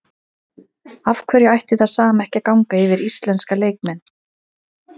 Af hverju ætti það sama ekki að ganga yfir íslenska leikmenn?